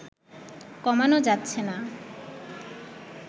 কমানো যাচ্ছে না